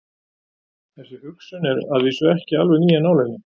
Þessi hugsun er að vísu ekki alveg ný af nálinni.